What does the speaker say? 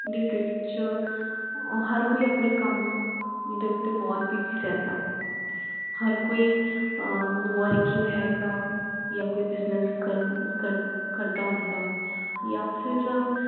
ਜਿੰਦਗੀ ਵਿਚ ਹਰ ਕੋਈ ਆਪਣੇ ਕੱਮ ਦੇ ਉਤੇ ਬਹੁਤ busy ਰਹਿੰਦਾ ਹਰ ਕੋਈ ਅਹ working ਹੇਗਾ ਯਾ ਕੋਈ business ਕਰ ਕਰ ਕਰਦਾ ਹੁੰਦਾ ਯਾ ਫਿਰ